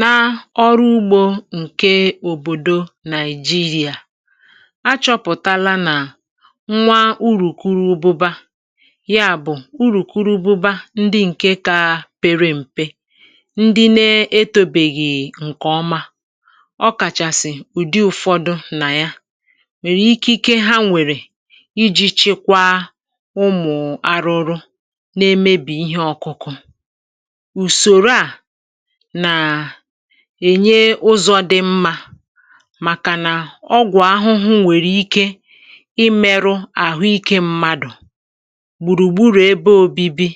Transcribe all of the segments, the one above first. Nà ọrụ ugbȯ ǹke òbòdo Nàị̀jirià, achọ̇pụ̀tala nà nwa urùkwuru ụbụbȧ, ya bụ̀ urùkwuru ụbụbȧ ndị ǹke kȧ pere m̀pe, ndị na-etȯbèghì ǹkè ọma, ọkàchàsị̀ ụ̀dị ụ̀fọdụ nà ya, nwèrè ikike ha nwèrè iji̇ chekwa ụmụ̀ arụ̇rụ̇ na-emebì ihe ọ̇kụ̇kụ̇. Usoro à nà ènye ụzọ̇ dị mmȧ màkànà ọgwọ ahụhụ nwèrè ike imėrụ àhụikė mmadụ̀, gbùrùgburù ebe ȯbi̇bi̇,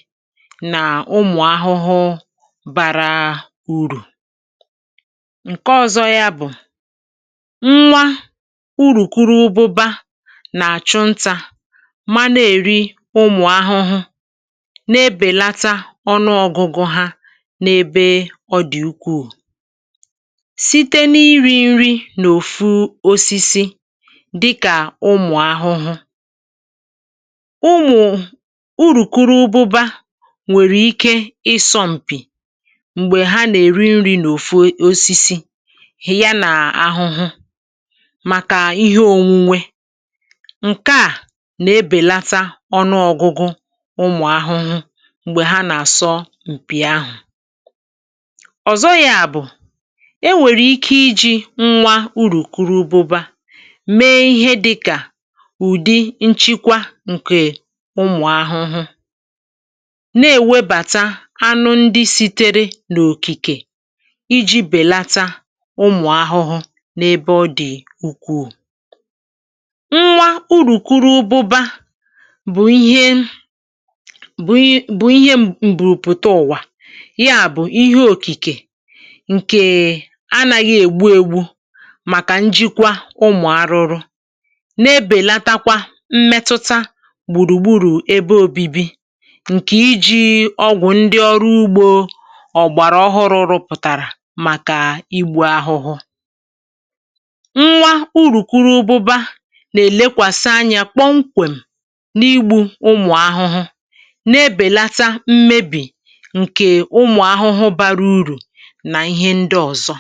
nà ụmụ̀ ahụhụ bȧrȧ urù. Nke ọzọ yȧ bụ̀, nwa urùkwuru ụbụbȧ nà-àchụ ntȧ, mana èri ụmụ̀ ahụhụ, nà-ebèlata ọnụọgụgụ hȧ na'ebe ọdị ukwuu, site n’iri̇ ṅri n’òfu osisi dịkà ụmụ̀ ahụhụ. Ụmụ urùkwuru ụbụba nwèrè ike ịsọ̇ m̀pì m̀gbè ha nà-èri nri̇ n’òfu osisi hị̀a n’ahụhụ màkà ihe ònwunwe, ǹke à nà-ebèlata ọnụọgụgụ ụmụ̀ ahụhụ m̀gbè ha nà-àsọ m̀pì ahụ̀. Ọzọ ya bụ, e nwèrè ike iji̇ nwa urùkwuru ụbụbȧ mee ihe dịkà ụ̀dị nchịkwa ǹkè ụmụ̀ ahụhụ, na-èwebàta anụ ndị si̇tėrė n’òkìkè iji̇ bèlata ụmụ̀ ahụhụ n’ebe ọ dị̀ ukwuu. Nwa urùkwuru ụbụbȧ bụ̀ ihe, bụ̀ bụ̀ ihe mbùrùpụta ụ̀wà, ya bụ ihe Okike ǹkè anaghị ègbu ègbu màkà njikwa ụmụ̀ arụrụ, na-ebèlatakwa mmetụta gbùrùgburù ebe obibi ǹkè iji ọgwụ ndị ọrụ ugbȯ ọ̀gbàrà ọhụrụ̇ rụpụ̀tàrà màkà igbù ahụhụ. Nwa urùkwuru ụbụba nà-èlekwàsị anya kpọ̀mkwèm̀ n’igbù ụmụ̀ ahụhụ, na-ebèlata mmebì ǹkè ụmụ̀ ahụhụ bara urù na ihe ndị ọzọ.